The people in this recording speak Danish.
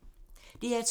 DR2